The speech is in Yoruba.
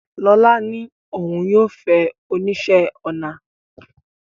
Lola ní òun yóò fẹ́ oníṣẹ́-ọnà